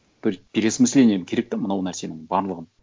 бір переосмысление керек те мынау нәрсенің барлығын